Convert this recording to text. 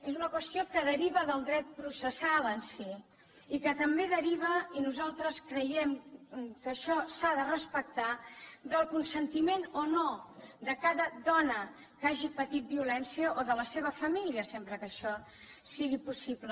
és una qüestió que deriva del dret processal en si i que també deriva i nosaltres creiem que això s’ha de respectar del consentiment o no de cada dona que hagi patit violència o de la seva família sempre que això sigui possible